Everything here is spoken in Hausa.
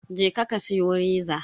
Je ka ka siyo reza.